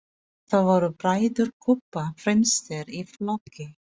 Þar voru bræður Kobba fremstir í flokki.